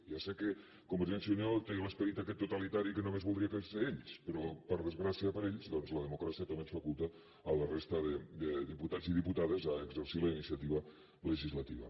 ja sé que con·vergència i unió té l’esperit aquest totalitari que només voldrien ser ells però per desgràcia per a ells doncs la democràcia també ens faculta a la resta de diputats i diputades a exercir la iniciativa legislativa